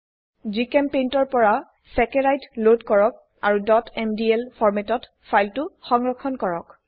জিচেম্পেইণ্ট ৰ পৰা চেকাৰাইড লোড কৰক আৰু mdl ফৰ্মেটত ফাইলটো সংৰক্ষণ কৰক 2